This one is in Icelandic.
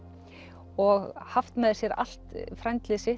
og haft með sér allt